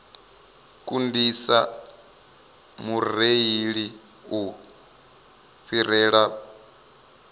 kundisa mureili u fhirela vhuṅwe